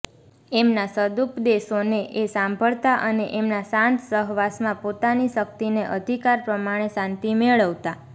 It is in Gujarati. એમના સદુપદેશોને એ સાંભળતા અને એમના શાંત સહવાસમાં પોતાની શક્તિ ને અધિકાર પ્રમાણે શાંતિ મેળવતા